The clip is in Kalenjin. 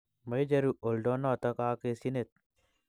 Maicheru oldonoto kekasyinet.